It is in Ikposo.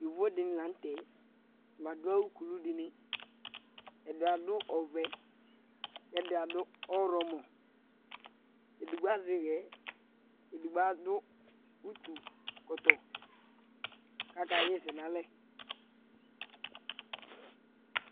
Yovo dɩnɩ la nʋ tɛ badʋ awʋ kulu dɩnɩ Ɛdɩ adʋ ɔvɛ kʋ ɛdɩ adʋ ɔɣlɔmɔ Edigbo azɛ ɩɣɛ, edigbo adʋ utukɔtɔ kʋ akaɣa ɛsɛ nʋ alɛ